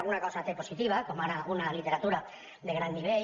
alguna cosa té positiva com ara una literatura de gran nivell